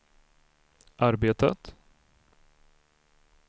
arbetat